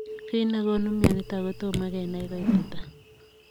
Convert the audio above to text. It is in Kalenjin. Kiit negonuu mionitok kotomo kenai koititaa.